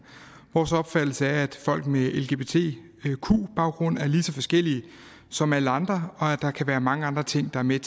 vores opfattelse er at folk med en lgbtq baggrund er lige så forskellige som alle andre og at der kan være mange andre ting der er med